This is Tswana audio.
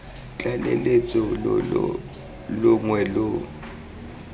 tlaleletso lo lo longwe lo